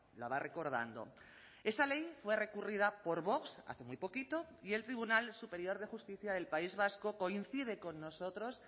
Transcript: la va recordando esa ley fue recurrida por vox hace muy poquito y el tribunal superior de justicia del país vasco coincide con nosotros